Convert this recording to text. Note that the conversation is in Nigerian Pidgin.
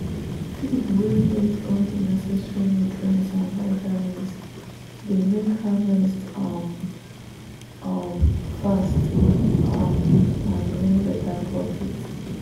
feed wey get all the neccesary nutrients and vitamins dey make harvest um um fast um and bring better profit.